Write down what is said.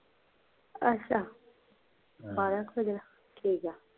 ਅੱਛਾ, ਬਾਰਹ ਕੁ ਵਜੇ ਠੀਕ ਆ